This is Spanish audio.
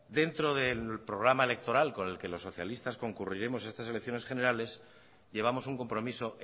dentro del programa electoral con el que los socialistas concurriremos a estas elecciones generales llevamos un compromiso